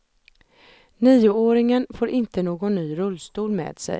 Nioåringen får inte någon ny rullstol med sig.